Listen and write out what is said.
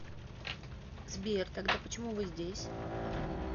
сбер тогда почему вы здесь